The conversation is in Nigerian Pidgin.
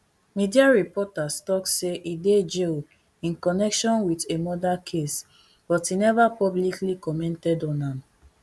media reports tok say e dey jail in connection wit a murder case but e neva publicly commented on am